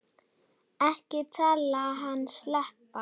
Ekki láta hann sleppa!